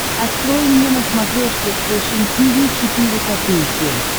открой мне на смотрешке фэшн ти ви четыре ка